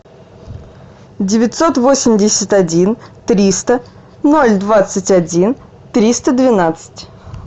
девятьсот восемьдесят один триста ноль двадцать один триста двенадцать